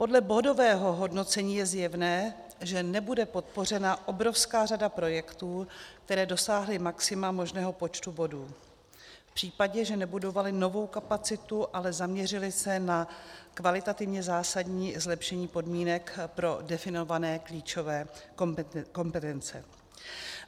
Podle bodového hodnocení je zjevné, že nebude podpořena obrovská řada projektů, které dosáhly maxima možného počtu bodů v případě, že nebudovaly novou kapacitu, ale zaměřily se na kvalitativně zásadní zlepšení podmínek pro definované klíčové kompetence.